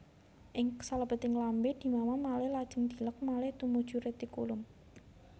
Ing salebeting lambé dimamah malih lajeng dileg malih tumuju retikulum